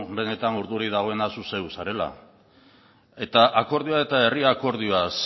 benetan urduri dagoena zu zeu zarela eta akordioa eta herri akordioaz